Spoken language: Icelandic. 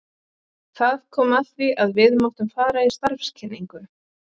Það kom að því að við máttum fara í starfskynningu.